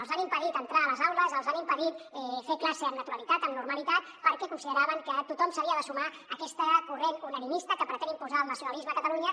els han impedit entrar a les aules els han impedit fer classe amb naturalitat amb normalitat perquè consideraven que tothom s’havia de sumar a aquest corrent unanimista que pretén imposar el nacionalisme a catalunya